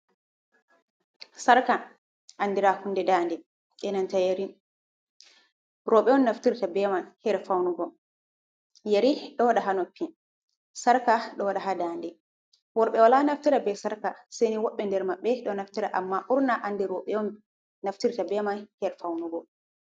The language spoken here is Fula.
Sarka andira hunde dande, be nanta yeri, roɓe on naftirta be man her faunugo, yeri ɗo waɗa haa noppi, sarka ɗo waɗa haa dande, worɓe wala naftira be sarka sai ni woɓɓe ndermaɓbe ɗo naftira, amma ɓurna andi roɓe on naftirta be man her faunugo.